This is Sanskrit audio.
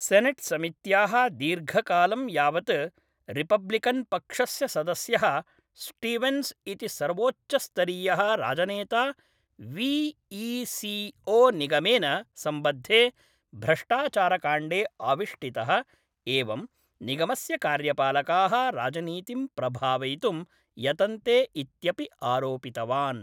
सेनेट्समित्याः दीर्घकालं यावत् रिपब्लिकन्पक्षस्य सदस्यः स्टीवेन्स् इति सर्वोच्चस्तरीयः राजनेता वी ई सी ओ निगमेन सम्बद्धे भ्रष्टाचारकाण्डे आविष्टितः एवं निगमस्य कार्यपालकाः राजनीतिं प्रभावयितुं यतन्ते इत्यपि आरोपितवान्।